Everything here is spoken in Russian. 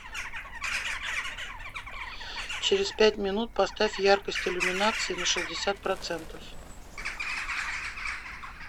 через пять минут поставь яркость иллюминации на шестьдесят процентов